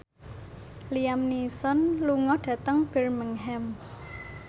Liam Neeson lunga dhateng Birmingham